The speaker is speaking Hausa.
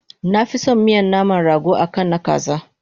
Nafison miyan naman rago akan na kaza